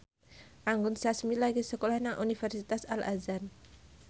Anggun Sasmi lagi sekolah nang Universitas Al Azhar